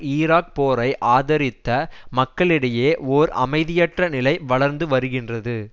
Iraq போரை ஆதரித்த மக்களிடையே ஓர் அமைதியற்ற நிலை வளர்ந்து வருகின்றது